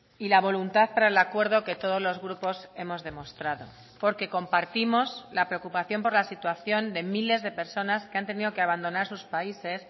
y la voluntad para el acuerdo que todos los grupos hemos demostrado porque compartimos la preocupación por la situación de miles de personas que han tenido que abandonar sus países